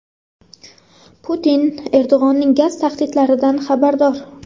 Putin Erdo‘g‘onning gaz tahdidlaridan xabardor.